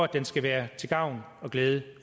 den skal være til gavn og glæde